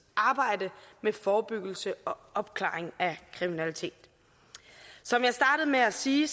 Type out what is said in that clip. arbejde med forebyggelse og opklaring af kriminalitet som jeg startede med at sige